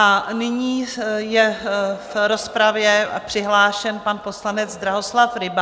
A nyní je v rozpravě přihlášen pan poslanec Drahoslav Ryba.